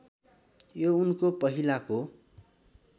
यो उनको पहिलाको